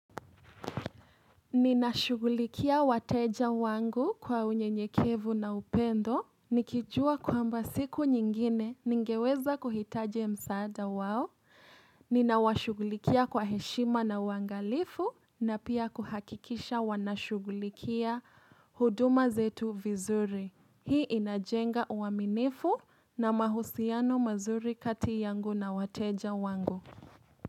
Ninashugulikia wateja wangu kwa unyenyekevu na upendo. Nikijua kwamba siku nyingine ningeweza kuhitaji msaada wao. Ninawashugulikia kwa heshima na uangalifu na pia kuhakikisha wanashugulikia huduma zetu vizuri. Hii inajenga uaminifu na mahusiano mazuri kati yangu na wateja wangu.